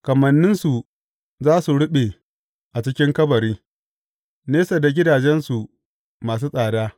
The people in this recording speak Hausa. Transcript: Kamanninsu za su ruɓe a cikin kabari, nesa da gidajensu masu tsada.